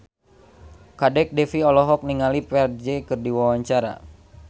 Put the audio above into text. Kadek Devi olohok ningali Ferdge keur diwawancara